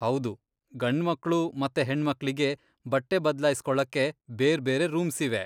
ಹೌದು, ಗಂಡ್ಮಕ್ಳು ಮತ್ತೆ ಹೆಣ್ಮಕ್ಳಿಗೆ ಬಟ್ಟೆ ಬದ್ಲಾಯ್ಸ್ಕೊಳಕ್ಕೆ ಬೇರ್ಬೇರೆ ರೂಮ್ಸಿವೆ.